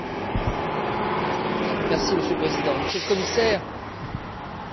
Monsieur le Président, Monsieur le Commissaire, vous remplissez bien la fonction.